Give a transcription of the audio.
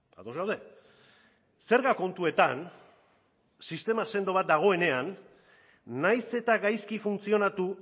ados gaude zerga kontuetan sistema sendo bat dagoenean nahiz eta gaizki funtzionatu